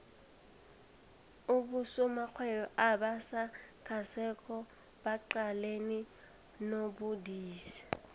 abosomarhwebo abasakhasako baqalene nobudisi